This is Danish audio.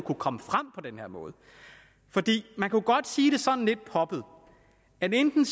kunne komme frem på den her måde man kunne godt sige det sådan lidt poppet at enten